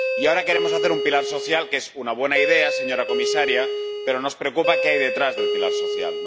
Y ahora queremos hacer un pilar social, lo que es una buena idea, señora comisaria, pero nos preocupa qué hay detrás del pilar social.